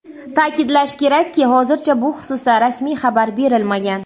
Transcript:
Ta’kidlash kerakki, hozircha bu xususda rasmiy xabar berilmagan.